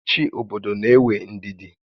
Ị́chị́ obodo n'éwé ndidi